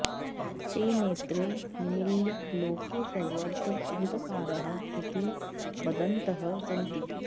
ते नेत्रे निमील्य लोके सर्वत्र अन्धकारः इति वदन्तः सन्ति